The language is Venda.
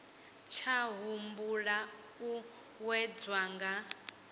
tsha humbela u wedzwa nga